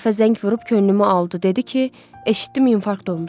O dəfə zəng vurub könlümü aldı, dedi ki, eşitdim infarkt olmusan.